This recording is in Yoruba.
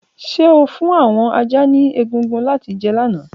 Ṣe o fun awọn ajá ni egungun lati jẹ lana?